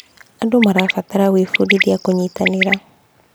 Andũ marabatara gwĩbundithia kũnyitanĩra.